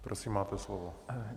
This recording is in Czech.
Prosím, máte slovo.